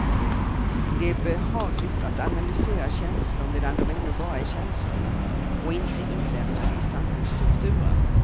Det är behagligt att analysera känslor medan de ännu bara är känslor, och inte inlemmade i samhällsstrukturen.